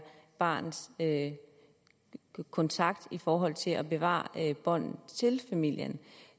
barnets kontakt i forhold til at bevare båndet til familien